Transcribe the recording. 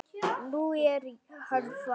Nú er hann farinn.